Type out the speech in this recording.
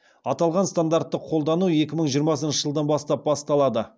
аталған стандартты қолдану екі мың жиырмасыншы жылдан бастап басталады